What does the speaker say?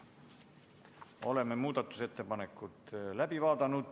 Oleme muudatusettepanekud läbi vaadanud.